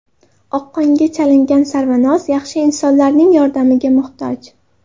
Oqqonga chalingan Sarvinoz yaxshi insonlarning yordamiga muhtoj.